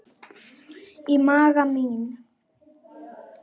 Í maga mín